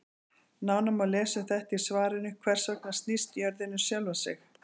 Nánar má lesa um þetta í svarinu Hvers vegna snýst jörðin um sjálfa sig?